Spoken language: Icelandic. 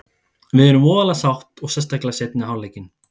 Við erum voðalega sátt og sérstaklega seinni hálfleikinn.